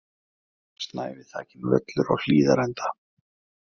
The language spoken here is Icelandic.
Snævi þakinn völlur á Hlíðarenda